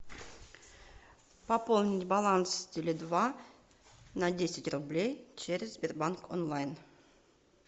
пополнить баланс теле два на десять рублей через сбербанк онлайн